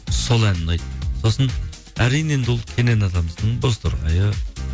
сол ән ұнайды сосын әрине енді ол кенен атамыздың бозторғайы